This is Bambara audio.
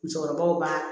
Musokɔrɔbaw b'a